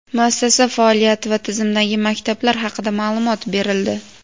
muassasa faoliyati va tizimdagi maktablar haqida ma’lumot berildi.